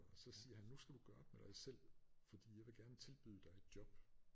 Og så siger han nu skal du gøre op med dig selv fordi jeg vil gerne tilbyde dig et job